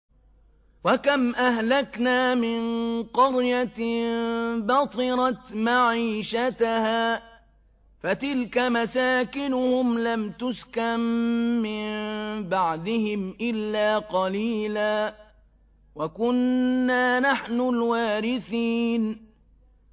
وَكَمْ أَهْلَكْنَا مِن قَرْيَةٍ بَطِرَتْ مَعِيشَتَهَا ۖ فَتِلْكَ مَسَاكِنُهُمْ لَمْ تُسْكَن مِّن بَعْدِهِمْ إِلَّا قَلِيلًا ۖ وَكُنَّا نَحْنُ الْوَارِثِينَ